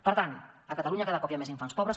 per tant a catalunya cada cop hi ha més infants pobres